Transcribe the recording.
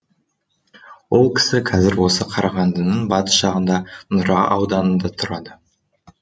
ол кісі кәзір осы қарағандының батыс жағында нұра ауданында тұрады